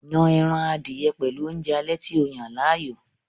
Yon ẹran adìẹ pẹ̀lú oúnjẹ alẹ́ tí o yàn láàyò